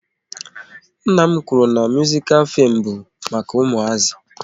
Nna m kwụrụ na muzikal fim bụ maka ụmụazi